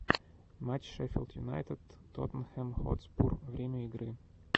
матч шеффилд юнайтед тоттенхэм хотспур время игры